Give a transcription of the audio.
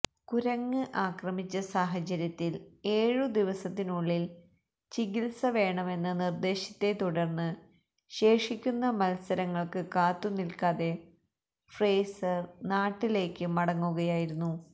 കുരങ്ങ് ആക്രമിച്ച സാഹചര്യത്തില് ഏഴു ദിവസത്തിനുള്ളില് ചികിത്സ വേണമെന്ന നിര്ദേശത്തെ തുടര്ന്ന് ശേഷിക്കുന്ന മത്സരങ്ങള്ക്ക് കാത്തുനില്ക്കാതെ ഫ്രേസര് നാട്ടിലേക്ക് മടങ്ങുകയായിരുന്നു